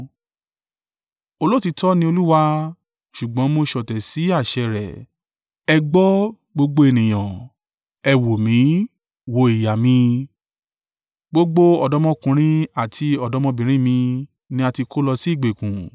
“Olóòtítọ́ ni Olúwa, ṣùgbọ́n mo ṣọ̀tẹ̀ sí àṣẹ rẹ̀. Ẹ gbọ́, gbogbo ènìyàn; ẹ wò mí wò ìyà mi. Gbogbo ọ̀dọ́mọkùnrin àti ọ̀dọ́mọbìnrin mi ni a ti kó lọ sí ìgbèkùn.